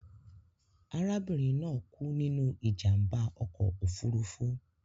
Arabinrin naa ku ninu ijamba ọkọ ofurufu